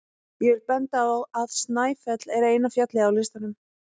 ég vil benda á að snæfell er eina fjallið á listanum